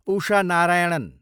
Usha Narayanan